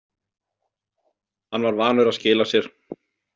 Hann var vanur að skila sér.